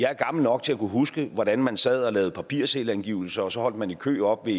gammel nok til at kunne huske hvordan man sad og lavede papirselvangivelser og så holdt man i kø oppe